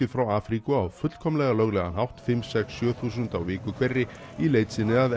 frá Afríku á fullkomlega löglegan hátt fimm komma sex sjö þúsund á viku hverri í leit sinni að